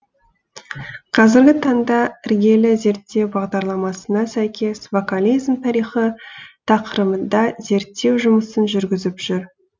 қазіргі таңда іргелі зерттеу бағдарламасына сәйкес вокализм тарихы тақырыбында зерттеу жұмысын жүргізіп жүр